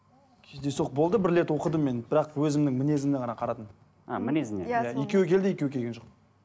кездейсоқ болды бір рет оқыдым мен бірақ өзімнің мінезімді ғана қарадым а мінезі иә екеуі келді екеуі келген жоқ